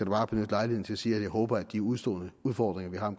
bare benytte lejligheden til at sige at jeg håber at de udestående udfordringer vi har